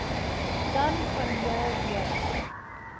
dan vanjaar juis